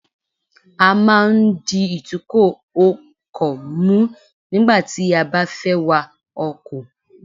A máa ń di ìtúkò ọkò mú nígbà tí a bá fé wa ọkò